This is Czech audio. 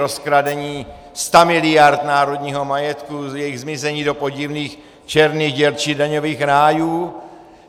Rozkradení stamiliard národního majetku, jejich zmizení do podivných černých děr či daňových rájů?